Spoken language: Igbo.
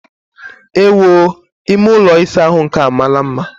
Ewoo! Ime ụlọ ịsa ahụ nke a amaala mma!